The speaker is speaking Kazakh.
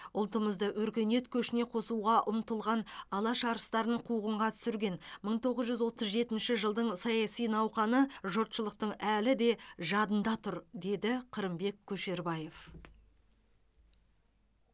ұлтымызды өркениет көшіне қосуға ұмтылған алаш арыстарын қуғынға түсірген мың тоғыз жүз отыз жетінші жылдың саяси науқаны жұртшылықтың әлі де жадында тұр деді қырымбек көшербаев